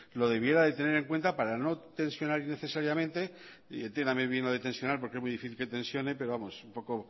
lo debiera de tener en cuenta para no tensionar innecesariamente entiéndame bien lo de tensionar porque es muy difícil que tensione pero vamos un poco